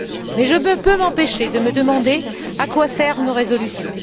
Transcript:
Mais je ne peux m'empêcher de me demander à quoi servent nos résolutions.